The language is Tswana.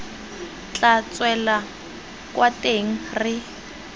tla tswela kwa teng re